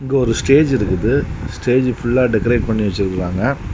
இங்க ஒரு ஸ்டேஜ் இருக்குது. ஸ்டேஜ் ஃபுல்லா டெக்கரேட் பண்ணி வச்சிருக்காங்க.